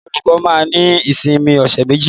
Àwọn olùkọ́ máa ní ìsinmi ọ̀ṣẹ̀ méjì.